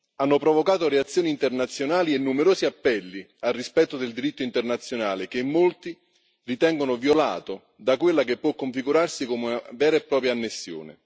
hanno provocato reazioni internazionali e numerosi appelli al rispetto del diritto internazionale, che molti ritengono violato da quella che può configurarsi come una vera e propria annessione.